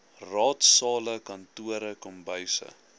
raadsale kantore kombuise